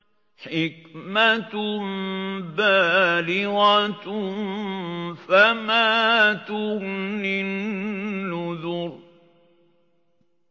حِكْمَةٌ بَالِغَةٌ ۖ فَمَا تُغْنِ النُّذُرُ